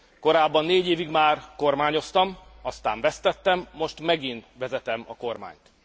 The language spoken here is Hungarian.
Korábban négy évig már kormányoztam, aztán vesztettem, most megint vezetem a kormányt.